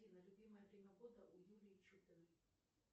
афина любимое время года у юлии чупиной